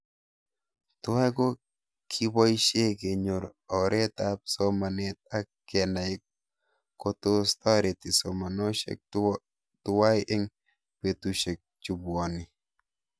Tuwai ko kipoishe kenyor oret ab somanet ak kenai kotos tareti somanoshek tuwai eng' petushek chepuoni